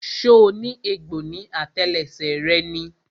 So ní egbò ní àtẹlẹsẹ̀ rẹ ni?